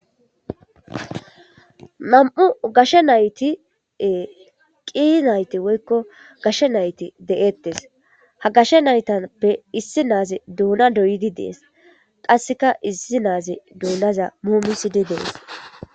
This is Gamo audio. Nammu' gashshe naythi ee qii naythi woykko gashshe naythi de'thess. Ha gashe naythape issi nazzi dunna doyidi dess. Qasseka issi na'azi dunna mumisidi dees.